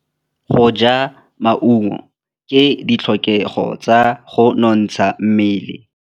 Go ja maungo ke ditlhokegô tsa go nontsha mmele.